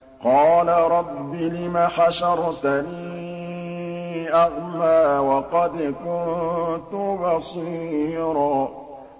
قَالَ رَبِّ لِمَ حَشَرْتَنِي أَعْمَىٰ وَقَدْ كُنتُ بَصِيرًا